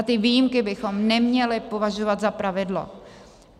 A ty výjimky bychom neměli považovat za pravidlo.